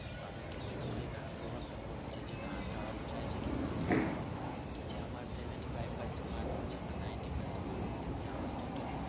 তাদের ক্ষেত্রে কিছু খারাপ প্রভাবটা পড়েছে যে না তারাও চাইছে কি বলতো যে আমার seventy five percent marks আছে আমার ninety percent marks আছে তারাও তো তোর